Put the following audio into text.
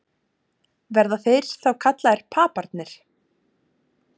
Verða þeir þá kallaðir Paparnir?